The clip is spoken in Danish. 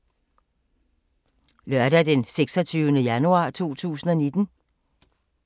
Lørdag d. 26. januar 2019